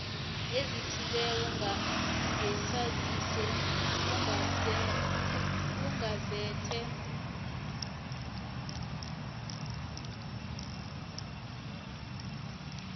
ezithileko ngesaziso kugazethe